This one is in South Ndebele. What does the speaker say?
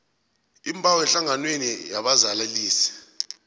iimbawo ehlanganweni yabazalanisi